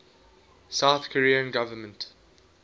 south korean government